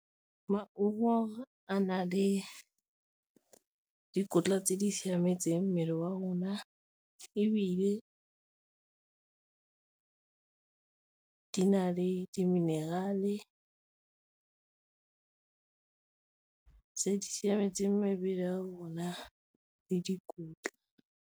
Maungo a na le dikotla tse di siametseng mmele wa rona, ebile di na le di-mineral-e tse di siametseng mebele ya rona le dikotla.